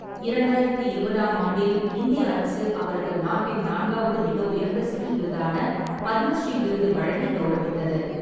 இரண்டாயிரத்து இருபதாம் ஆண்டில், இந்திய அரசு அவருக்கு நாட்டின் நான்காவது மிக உயர்ந்த சிவில் விருதான பத்மஸ்ரீ விருது வழங்கி கவுரவித்தது.